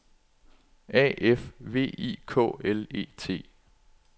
A F V I K L E T